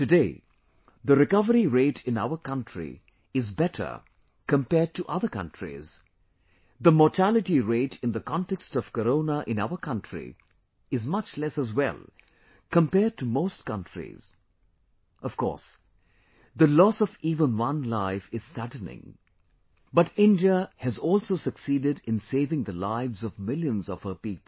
Today, the recovery rate in our country is better compared to other countries; the mortality rate in the context of Corona in our country is much less as well, compared to most countries, of course, the loss of even one life is saddening, but India has also succeeded in saving the lives of millions of her people